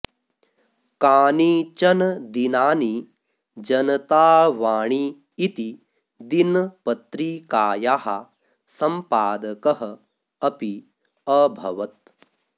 कानिचन दिनानि जनतावाणी इति दिनपत्रिकायाः सम्पादकः अपि अभवत्